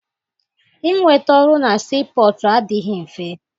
Inweta ọrụ na sii pọtụ adịghị mfe.